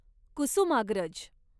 Kusumagraj